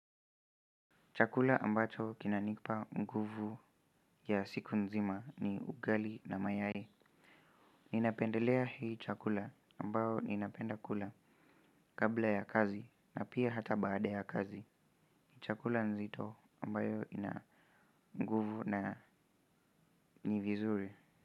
Chakula ambacho kinanipa nguvu ya siku nzima ni ugali na mayai. Ninapendelea hii chakula ambayo ninapenda kula kabla ya kazi na pia hata baada ya kazi. Chakula nzito ambayo ina nguvu na nivizuri.